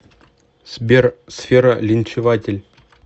сбер сфера линчеватель